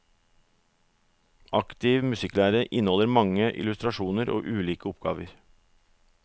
Aktiv musikklære inneholder mange illustrasjoner og ulike oppgaver.